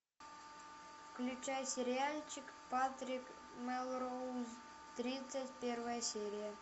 включай сериальчик патрик мелроуз тридцать первая серия